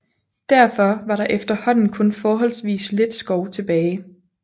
Derfor var der efterhånden kun forholdsvis lidt skov tilbage